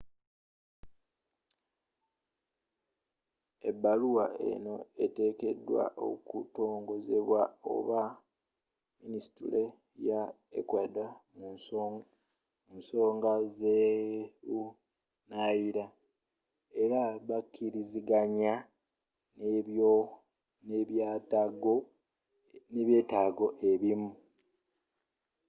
ebaluwa eno etekedwa okutongozebwa aba minisitule ya ecuador mu nsonga zebunaayira era bakkirizaganye nebyetago ebimu